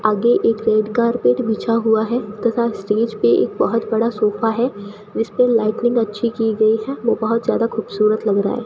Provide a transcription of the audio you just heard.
आगे एक red carpet बिछा हुआ है तथा स्टेज पे एक बहोत बड़ा सोफा है जिसपे लाइटनिंग अच्छी की गई है वो बहोत ज्यादा खूबसूरत लग रहा है।